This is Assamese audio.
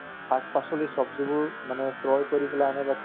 উম তহ